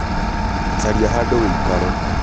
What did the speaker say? caria hadũ wĩikare